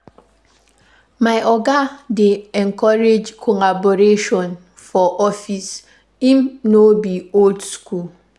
My oga dey encourage collaboration for office, im no be old skool.